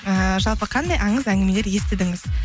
ііі жалпы қандай аңыз әңгімелер естідіңіз